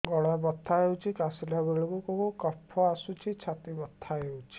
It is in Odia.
ଗଳା ବଥା ହେଊଛି କାଶିଲା ବେଳକୁ କଫ ଆସୁଛି ଛାତି ବଥା ହେଉଛି